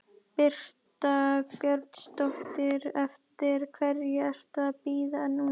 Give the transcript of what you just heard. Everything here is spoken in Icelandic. Birta Björnsdóttir: Eftir hverju ertu að bíða núna?